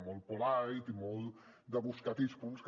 molt polite i molt de buscar aquells punts que